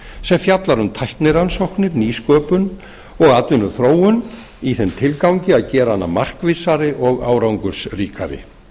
sem fjallar um tæknirannsóknir nýsköpun og atvinnuþróun í þeim tilgangi að gera hana markvissari og árangursríkari